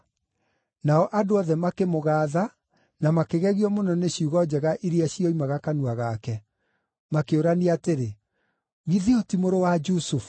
Nao andũ othe makĩmũgaatha na makĩgegio mũno nĩ ciugo njega iria cioimaga kanua gake. Makĩũrania atĩrĩ, “Githĩ ũyũ ti mũrũ wa Jusufu?”